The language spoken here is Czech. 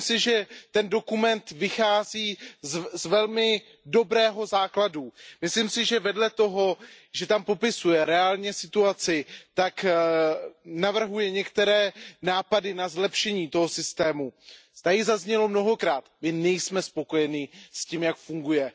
Myslím si, že ten dokument vychází z velmi dobrého základu. Myslím si, že vedle toho, že tam popisuje reálně situaci, tak navrhuje některé nápady na zlepšení toho systému. Zaznělo zde mnohokrát, my nejsme spokojeni s tím, jak funguje.